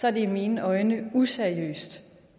er det i mine øjne useriøst